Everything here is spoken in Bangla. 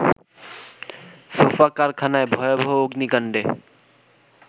সোফা কারখানায় ভয়াবহ অগ্নিকাণ্ডে